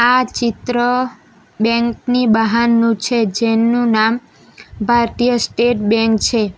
આ ચિત્ર બેંક ની બહારનું છે જેનું નામ ભારતીય સ્ટેટ બેન્ક છે.